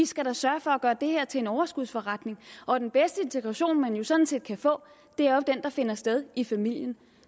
skal sørge for at gøre det her til en overskudsforretning og den bedste integration man sådan set kan få er jo den der finder sted i familien